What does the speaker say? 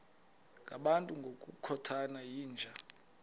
ngabantu ngokukhothana yinja